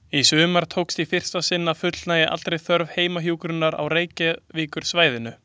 Í sumar tókst í fyrsta sinn að fullnægja allri þörf fyrir heimahjúkrun á Reykjavíkursvæðinu.